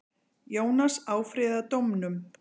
Jónas áfrýjaði dómnum.